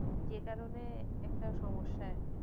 যে কারণে একটা সমস্যা আর কি